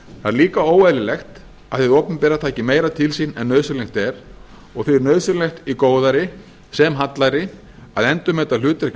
er líka óeðlilegt að hið opinbera taki meira til sín en nauðsynlegt er og því er nauðsynlegt í góðæri sem hallæri að endurmeta hlutverk